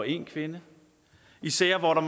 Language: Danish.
en kvinde især hvor der